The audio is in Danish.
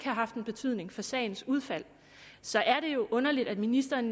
haft en betydning for sagens udfald så er det jo underligt at ministeren